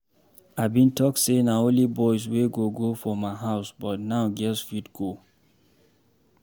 I bin talk say na only boys wey go go for my house but now girls fit go